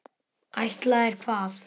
Ætlaðir hvað?